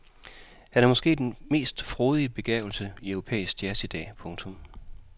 Han er måske den mest frodige begavelse i europæisk jazz i dag. punktum